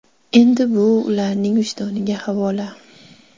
Endi bu ularning vijdoniga havola.